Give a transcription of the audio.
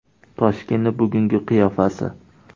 Toshkentning bugungi qiyofasi.